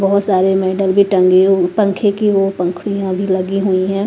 बहोत सारे मैडल भी टंगे हूं पंखे की वो पंखुड़ियां भी लगी हुई हैं।